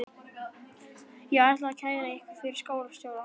Ég ætla að kæra ykkur fyrir skólastjóra.